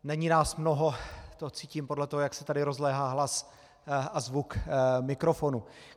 Není nás mnoho, to cítím podle toho, jak se tady rozléhá hlas a zvuk mikrofonu.